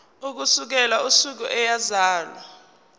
ukusukela usuku eyazalwa